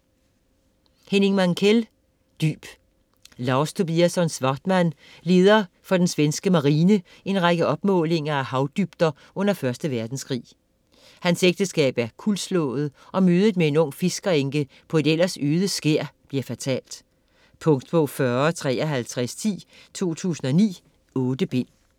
Mankell, Henning: Dyb Lars Tobiasson-Svartman leder for den svenske marine en række opmålinger af havdybder under 1. verdenskrig. Hans ægteskab er kuldslået og mødet med en ung fiskerenke på et ellers øde skær bliver fatalt. Punktbog 405310 2009. 8 bind.